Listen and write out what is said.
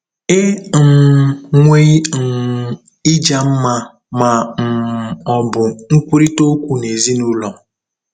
E um nweghị um ịja mma ma um ọ bụ nkwurịta okwu n'ezinụlọ.